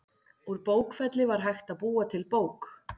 Úr bókfelli var hægt að búa til bók.